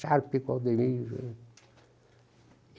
Sharp com o Ademir.